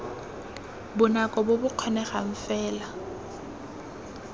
bonako bo bo kgonegang fela